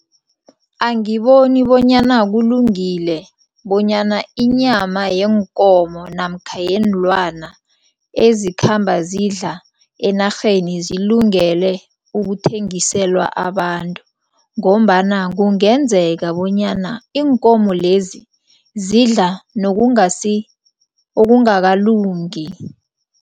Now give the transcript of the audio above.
Angiboni bonyana kulungile bonyana inyama yeenkomo namkha yeenlwana ezikhamba zidla enarheni zilungele ukuthengiselwa abantu ngombana kungenzeka bonyana iinkomo lezi, zidla okungakalungi.